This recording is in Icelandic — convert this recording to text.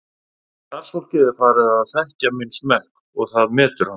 Starfsfólkið er farið að þekkja minn smekk og það metur hann.